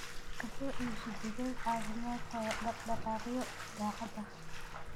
Ka soo iibso digaag caafimaad qaba dhaq-dhaqaaqyo daacad ah.